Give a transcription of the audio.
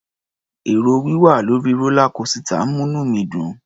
È̀rò wíwà lórí rólá kósità ń múní mi dùn.